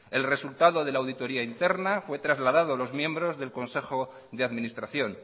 el resultado de la auditoria interna fue trasladado a los miembros del consejo de administración